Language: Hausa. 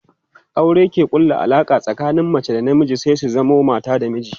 aure ke ƙulla Alaƙa tsakanin mace da na miji su zamo mata da miji